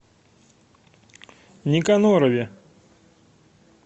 никонорове